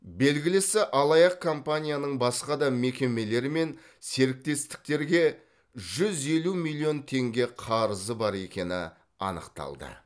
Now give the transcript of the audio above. белгілісі алаяқ компанияның басқа да мекемелер мен серіктестіктерге жүз елу миллион теңге қарызы бар екені анықталды